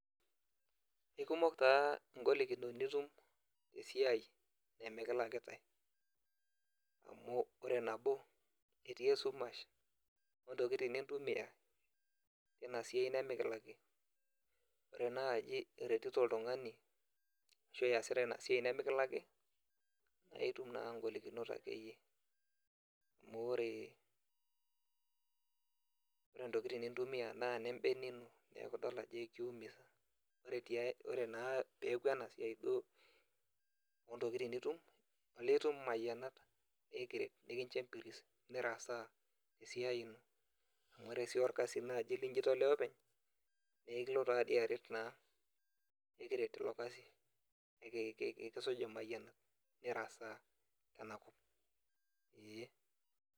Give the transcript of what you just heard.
Ikumok taa golikinot nitum esiai emikilakitai. Amu ore nabo, etii esumash, ontokiting nintumia, tinasiai nimikilaki. Ore naji iretito oltung'ani ashu iyasita inasiai nimikilaki, na itum naa golikinot akeyie. Amu ore, ore ntokiting nintumia naa nebene ino. Neeku idol ajo eki umiza. Ore naa peeku enasiai duo ontokiting nitum, olee itum imayianat, nikincho empiris, nirasaa tesiai ino. Amu ore si orkasi naji liji tolea openy, nekilo tadi aret naa. Ekiret ilo kasi. Ekisuj imayianat. Nirasaa, tenakop. Ee.